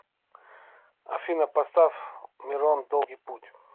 афина поставь мирон в долгий путь